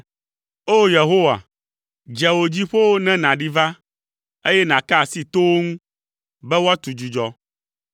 O! Yehowa, dze wò dziƒowo ne nàɖi va, eye nàka asi towo ŋu, be woatu dzudzɔ.